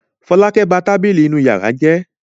Fọlákẹ́ ba tábìlì inú ìyàrá rẹ̀ jẹ́.